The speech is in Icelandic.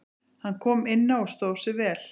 Hann kom inná og stóð sig vel.